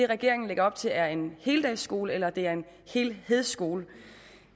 regeringen lægger op til er en heldagsskole eller det er en helhedsskole